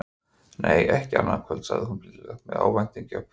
Nei, ekki annað kvöld, sagði hún blíðlega með ávæningi af kvíða.